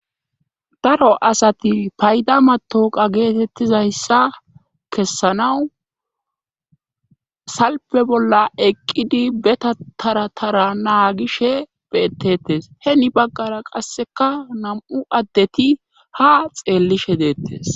daro asati payda matawoqa geetettizayssa kessanawu salpe bolla eqqidi be tara tara naagishe beettettes heni baggara qasseka nam'u addeti ha xeellishe deettes